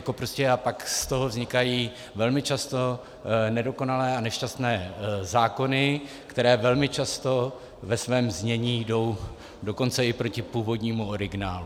A pak z toho vznikají velmi často nedokonalé a nešťastné zákony, které velmi často ve svém znění jdou dokonce i proti původnímu originálu.